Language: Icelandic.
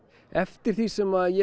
eftir því sem ég